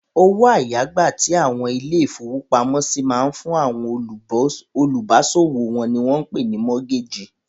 Owó àyágbà tí àwọn ilé-ìfowópamọ́sí máa ń fún àwọn olùbáṣòwò wọn ni wọ́n pè ní mọ́gágè.